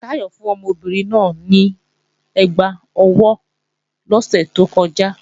Táyọ̀ fún ọmọbìnrin náà ní ẹgbá ọwọ́ lọ́sẹ̀ tó kọjá